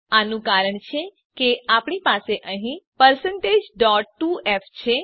આનું કારણ છે કે આપણી પાસે અહીં 2f છે